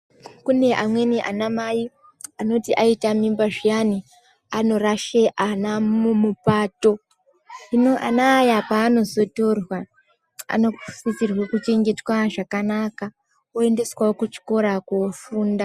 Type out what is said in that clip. Kune amweni anamai anoti aita mimba zviyani anorashe ana mupato. Hino ana aya panotorwa anosisirwe kuchengetwa zvakanaka oendeswawo kuchikora kofunda.